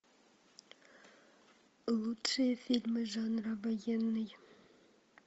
лучшие фильмы жанра военный